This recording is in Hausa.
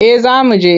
Eh za mu je.